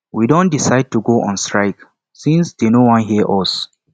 we don decide to go on strike since dey no wan hear us